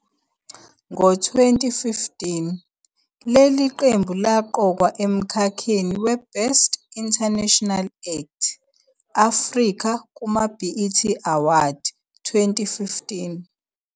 Ngo-2015, leli qembu laqokwa emkhakheni weBest International Act- Africa kumaBET Awards 2015.